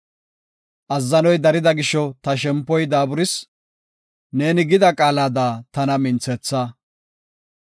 Azzanoy darida gisho ta shempoy daaburis; neeni gida qaalada tana minthetha.